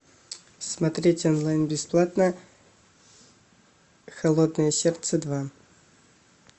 смотреть онлайн бесплатно холодное сердце два